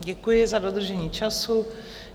Děkuji za dodržení času.